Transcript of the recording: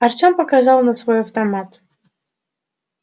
артем показал на свой автомат